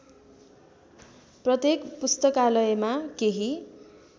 प्रत्येक पुस्तकालयमा केही